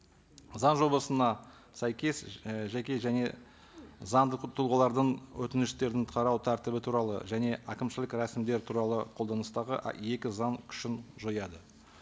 заң жобасына сәйкес і жеке және заңды тұлғалардың өтініштерін қарау тәртібі туралы және әкімшілік рәсімдер туралы қолданыстағы екі заң күшін жояды